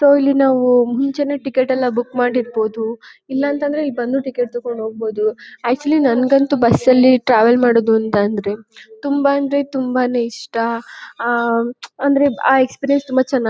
So ಇಲ್ಲಿ ನಾವು ಮುಂಚೆನೇ ಟಿಕೆಟ್ ಎಲ್ಲ ಬುಕ್ ಮಾಡಿರಬಹುದು. ಇಲ್ಲಾಂತಂದ್ರೆ ಇಲ್ ಬಂದು ಟಿಕೆಟ್ ತಗೊಂಡ್ ಹೋಗ್ಬಹುದು. ಅಕ್ಟ್ಸಹೂಎಲೆ ನನಗಂತೂ ಬಸ್ ಅಲ್ಲಿ ಟ್ರಾವೆಲ್ ಮಾಡೋದು ಅಂತ ಅಂದ್ರೆ ತುಂಬಾ ಅಂದ್ರೆ ತುಂಬಾನೇ ಇಷ್ಟ ಅಂದರೆ ಆ ಎಕ್ಸ್ಪೀರಿಯೆನ್ಸ್ ತುಂಬಾ ಚನ್ನಾಗ್--